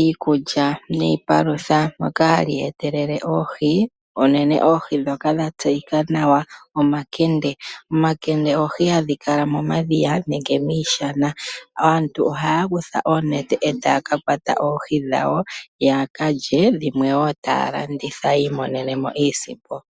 iikulya niipalutha, moka hali etelele oohi, unene oohi ndhoka dha tseyika nawa omakende. Omakende oohi hadhi kala momadhiya nenge miishana. Aantu ohaa kutha oonete e taa ka kwata oohi dhawo ya ka lye, dhimwe wo taya landitha yi imonene mo iisimpo.